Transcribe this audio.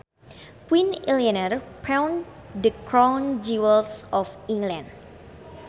Queen Eleanor pawned the crown jewels of England